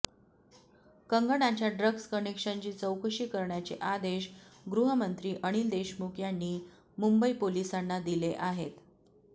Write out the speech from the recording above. कंगनाच्या ड्रग्ज कनेक्शनची चौकशी करण्याचे आदेश गृहमंत्री अनिल देशमुख यांनी मुंबई पोलिसांना दिले आहेत